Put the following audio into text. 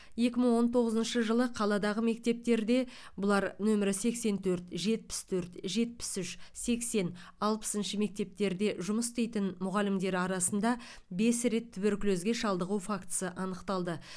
екі мың он тоғызыншы жылы қаладағы мектептерде бұлар нөмірі сексен төрт жетпіс төрт жетпіс үш сексен алпысыншы мектептерде жұмыс істейтін мұғалімдер арасында бес рет туберкулезге шалдығу фактісі анықталды